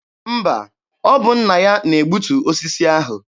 Mba, ọ bụ nna ya na-egbutu osisi ahụ.